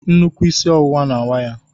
Nnukwu isi ọwụwa na-awa ya